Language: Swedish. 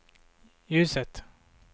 ljuset